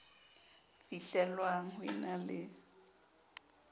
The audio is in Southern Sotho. fihlellwang ho e na le